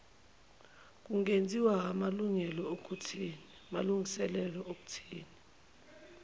kungenziwa aamlungiselelo okuthi